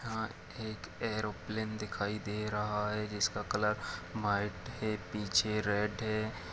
यहाँ एक एरोप्लेन दिखाई दे रहा है जिसका कलर व्हाइट हे पीछे रेड हे।